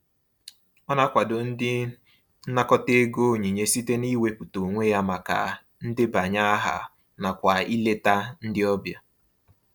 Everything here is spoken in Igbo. Ọ na-akwado ndị nnakọta ego onyinye site n'iwepụta onwe ya maka ndebanye aha nakwa ileta ndị ọbịa.